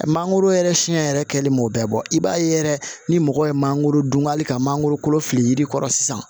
Mangoro yɛrɛ siɲɛ yɛrɛ kɛlen m'o bɛɛ bɔ i b'a ye yɛrɛ ni mɔgɔ ye mangoro dun hali ka mangoro kolo fili yiri kɔrɔ sisan